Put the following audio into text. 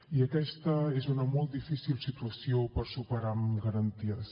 i aquesta és una molt difícil situació per superar la amb garanties